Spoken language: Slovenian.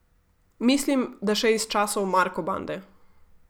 Mislim, da še iz časov Marko bande.